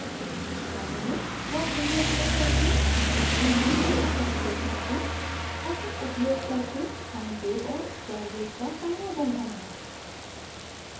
एक नियत कार्य में लॉट window उपयोग करके अपनी उंगली का प्रतिरोध मापें